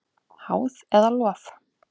Háð eða lof?